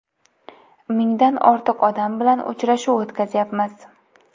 Mingdan ortiq odam bilan uchrashuv o‘tkazyapmiz.